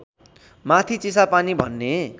माथि चिसापानी भन्ने